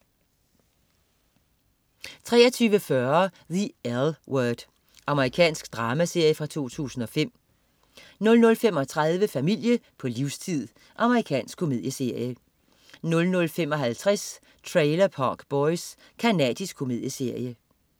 23.40 The L Word. Amerikansk dramaserie fra 2005 00.35 Familie på livstid. Amerikansk komedieserie 00.55 Trailer Park Boys. Canadisk komedieserie